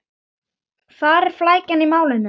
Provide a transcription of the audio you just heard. Hvar er flækjan í málinu?